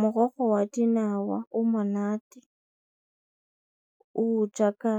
Morogo wa dinawa o monate o jaaka